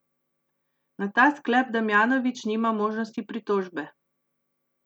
Na ta sklep Damjanovič nima možnosti pritožbe.